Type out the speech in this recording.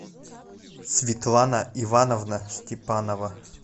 светлана ивановна степанова